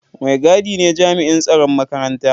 Mai gadi ne jami'in tsaron makaranta.